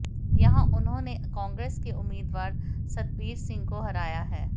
यहां उन्होंने कांग्रेस के उम्मीदवार सतबीर सिंह को हराया है